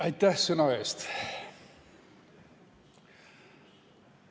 Aitäh sõna eest!